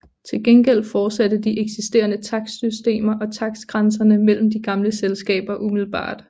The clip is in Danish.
Til gengæld fortsatte de eksisterende takstsystemer og takstgrænserne mellem de gamle selskaber umiddelbart